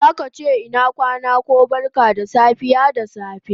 Zaka che ina kwana ko barka da safe da safe